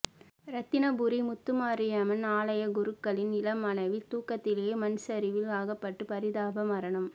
இரத்தினபுரி முத்துமாரியம்மன் ஆலய குருக்களின் இளம் மனைவி தூக்கத்திலேயே மண்சரிவில் அகப்பட்டு பரிதாப மரணம்